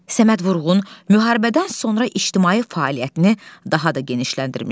Səməd Vurğun müharibədən sonra ictimai fəaliyyətini daha da genişləndirmişdi.